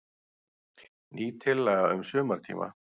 Ný tillaga um sumartíma.